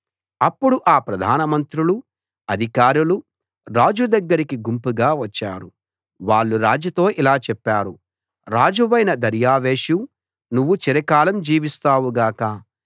అప్పుడు ఆ ప్రధానమంత్రులు అధికారులు రాజు దగ్గరికి గుంపుగా వచ్చారు వాళ్ళు రాజుతో ఇలా చెప్పారు రాజువైన దర్యావేషూ నువ్వు చిరకాలం జీవిస్తావు గాక